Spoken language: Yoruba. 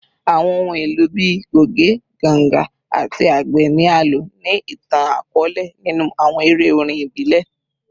Awọn ohun elo bii goge, ganga, ati agbe ni a lo ni itan-akọọlẹ ninu awọn ere orin ibile